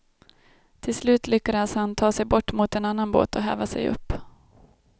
Till slut lyckades han ta sig bort mot en annan båt och häva sig upp.